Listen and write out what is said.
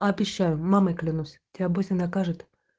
обещаю мамой клянусь тебя быстро накажут